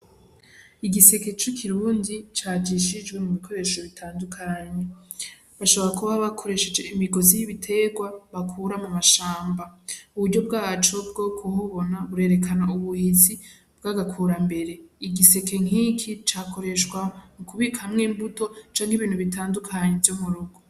Igiseke c'ikirundi cajisjijwe mu bikoresho bitandukanye bashobora kuba bakoresheje imigozi y'ibiterwa bakura mu mashamba uburyo bwacu bwo kibubona burerekana ubuhizi bwaga kurambere igiseke nkiki cakoreshwa mu kubikamwo imbuto canke ibintu bitandukanye vy'omurugo.